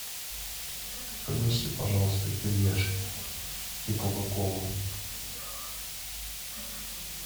принеси пожалуйста кириешки и кока колу